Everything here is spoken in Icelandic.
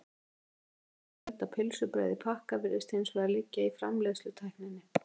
skýringin á fjölda pylsubrauða í pakka virðist hins vegar liggja í framleiðslutækninni